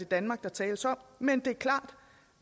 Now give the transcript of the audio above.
danmark der tales om men det er klart